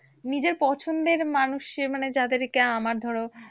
নিজের পছন্দের মানুষের মানে যাদেরকে আমার ধরো